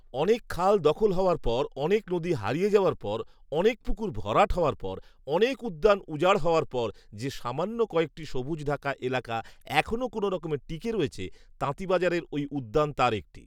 অনেক খাল দখল হওয়ার পর, অনেক নদী হারিয়ে যাওয়ার পর, অনেক পুকুর ভরাট হওয়ার পর, অনেক উদ্যান উজাড় হওয়ার পর, যে সামান্য কয়েকটি সবুজঢাকা এলাকা এখনও কোনো রকমে টিকে রয়েছে, তাঁতীবাজারের ওই উদ্যান তার একটি